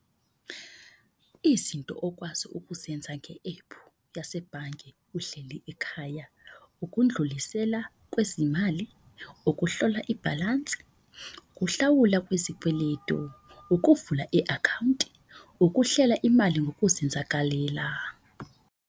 Izinto okwazi ukuzenza nge-ephu yasebhange uhleli ekhaya. Ukundlulisela kwezimali, ukuhlola ibhalansi, uhlawula kwezikweledu. Ukuvula i-akhawunti, ukuhlela imali ngokuzenzakalela.